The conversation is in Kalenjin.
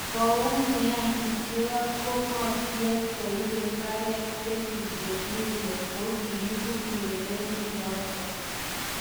Koumian Puncheon ko ngo tiem koipe mbiret Kevin De Brune kongepu urerionoto